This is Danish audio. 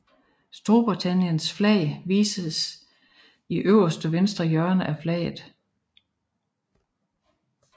Storbritanniens flag vises i øverste venstre hjørne af flaget